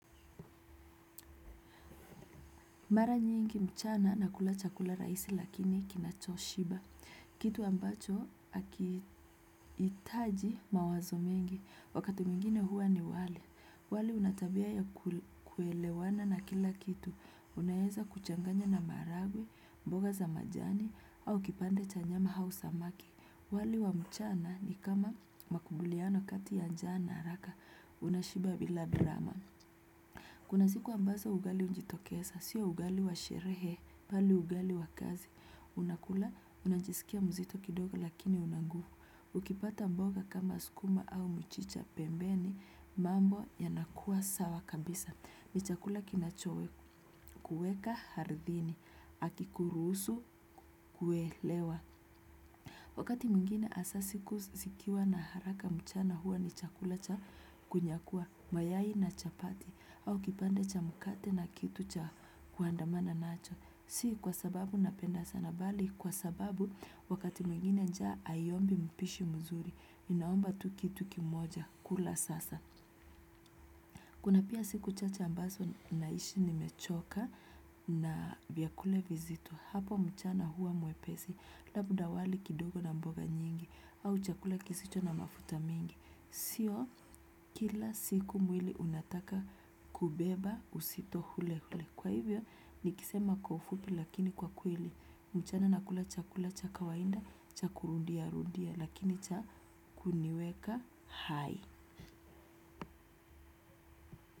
Mara nyingi mchana nakula chakula rahisi lakini kinachoshiba. Kitu ambacho hakihitaji mawazo mengi. Wakati mwingine huwa ni wali. Wale unatabia ya kuelewana na kila kitu. Unaweza kuchanganya na maharagwe, mboga za majani, au kipande cha nyama au samaki. Wale wa mchana ni kama makubaliano kati ya njaa na haraka. Unashiba bila drama. Kuna siku ambazo ugali ujitokeza, sio ugali wa sherehe, mbali ugali wa kazi. Unakula, unajisikia mzito kidogo lakini una nguvu. Ukipata mboga kama sukuma au mchicha pembeni, mambo yanakua sawa kabisa. Ni chakula kinacho kuweka ardhini, hakikuruhusu kuelewa. Wakati mwigine hasa siku zikiwa na haraka. Mchana huwa ni chakula cha kunyakua, mayai na chapati, au kipande cha mkate na kitu cha kuandamana nacho. Si kwa sababu napenda sana mbali, kwa sababu wakati mwigine njaa haiombi mpishi mzuri, inaomba tu kitu kimoja, kula sasa. Kuna pia siku chache ambazo nahisi nimechoka na vya kule vizito. Hapo mchana huwa mwepesi labda wali kidogo na mboga nyingi, au chakula kisicho na mafuta mingi. Sio kila siku mwili unataka kubeba uzito ule ule. Kwa hivyo nikisema kwa ufupi lakini kwa kweli, mchana nakula chakula cha kawaida cha kurudia rudia lakini cha kuniweka hai.